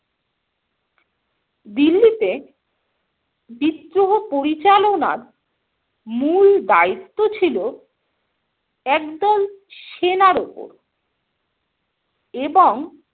দিল্লিতে বিদ্রোহ পরিচালনার মূল দায়িত্ব ছিল একদল সেনার উপর এবং